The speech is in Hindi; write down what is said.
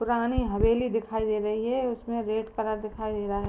पुरानी हवेली दिखाई दे रही है। उसमें रेड कलर दिखाई दे रहा है।